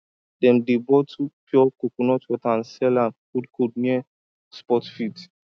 dem dey bottle pure coconut water and sell am coldcold near sports field